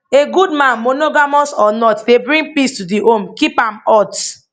a good man monogamous or not dey bring peace to di home keep am hot